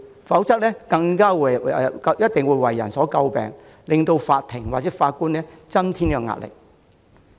否則，一定會為人詬病，讓法庭和法官增添壓力。